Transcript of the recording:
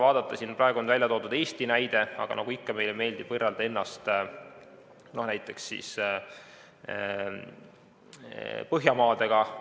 Siin on toodud Eesti näide, aga nagu ikka meeldib meile võrrelda ennast näiteks Põhjamaadega.